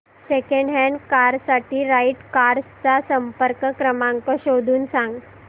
second hand car साठी right cars चा संपर्क क्रमांक शोधून सांग